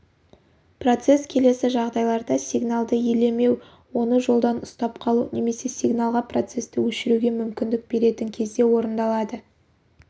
процесс келесі жағдайларда сигналды елемеу оны жолдан ұстап қалу немесе сигналға процесті өшіруге мүмкіндік беретін кезде орындалады